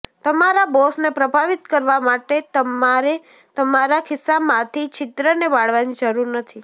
તમારા બોસને પ્રભાવિત કરવા માટે તમારે તમારા ખિસ્સામાંથી છિદ્રને બાળવાની જરૂર નથી